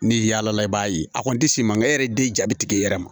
Ni yaalala i b'a ye a kɔni tɛ se mankan e yɛrɛ den ja bɛ tigɛ i yɛrɛ ma